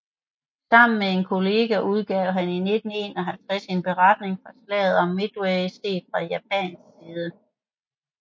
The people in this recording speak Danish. Sammen med en kollega udgav han i 1951 en beretning fra Slaget om Midway set fra japansk side